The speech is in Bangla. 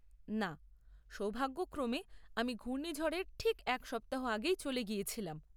না, সৌভাগ্যক্রমে আমি ঘূর্ণিঝড়ের ঠিক এক সপ্তাহ আগেই চলে গিয়েছিলাম।